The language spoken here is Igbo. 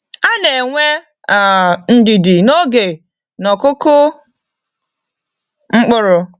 Ana enwe um ndidi n'oge n'okụkụ mkpụrụ.